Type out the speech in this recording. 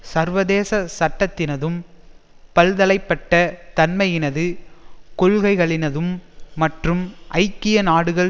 சர்வதேச சட்டத்தினதும் பல்தலைபட்ட தன்மையினது கொள்கைகளினதும் மற்றும் ஐக்கிய நாடுகள்